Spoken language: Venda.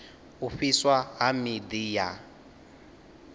u fhiswa ha miḓi ya